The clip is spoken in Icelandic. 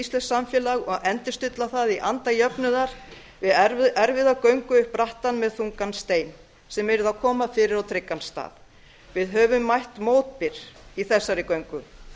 íslenskt samfélag og endurstilla það í anda jöfnuðar við erfiða göngu upp brattan með þungan stein sem yrði að koma fyrir á tryggan stað við höfum mætt mótbyr í þessari göngu